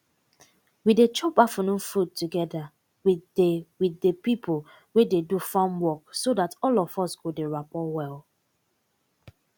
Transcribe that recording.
we dey chop affunoon food togeda with de with de pipo wey dey do farm work so dat all of us go dey rappor well